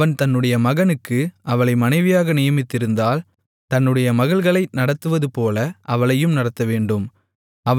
அவன் தன்னுடைய மகனுக்கு அவளை மனைவியாக நியமித்திருந்தால் தன்னுடைய மகள்களை நடத்துவதுபோல அவளையும் நடத்தவேண்டும்